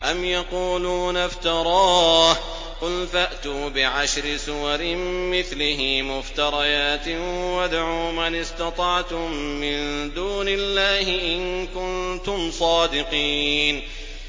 أَمْ يَقُولُونَ افْتَرَاهُ ۖ قُلْ فَأْتُوا بِعَشْرِ سُوَرٍ مِّثْلِهِ مُفْتَرَيَاتٍ وَادْعُوا مَنِ اسْتَطَعْتُم مِّن دُونِ اللَّهِ إِن كُنتُمْ صَادِقِينَ